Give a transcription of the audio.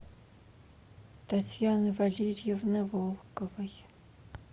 татьяны валерьевны волковой